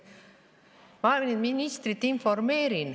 Ma informeerin ministrit.